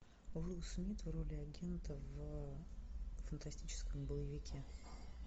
уилл смит в роли агента в фантастическом боевике